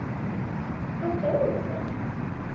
Hvað sögðu þeir?